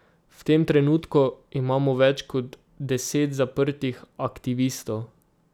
V tem trenutku imamo več kot deset zaprtih aktivistov.